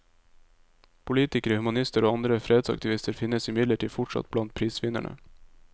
Politikere, humanister og andre fredsaktivister finnes imidlertid fortsatt blant prisvinnerne.